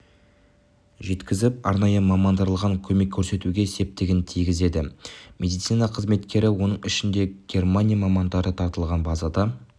жеткізіп арнайы мамандандырылған көмек көрсетуге септігін тигізеді медицина қызметкері оның ішінде германия мамандары тартылған базада